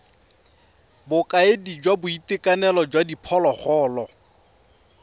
bokaedi jwa boitekanelo jwa diphologolo